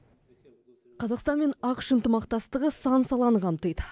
қазақстан мен ақш ынтымақтастығы сан саланы қамтиды